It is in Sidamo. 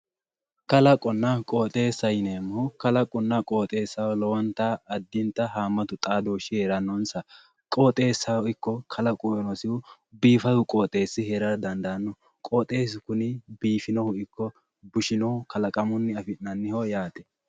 kalaqonna qooxeessa yineemmohu kalaqonna qooxeessaho lowonta addinta haammatu xaadoshshi heerannonsa qooxeessaho ikko kalaqo qooxeessi heerara dandaanno qoxeessu kuni biifinohu ikko bushsinohu kalaqamunni afi'nanni yaate